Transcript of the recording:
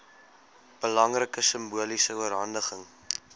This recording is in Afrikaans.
belangrike simboliese oorhandiging